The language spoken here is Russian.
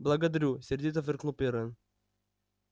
благодарю сердито фыркнул пиренн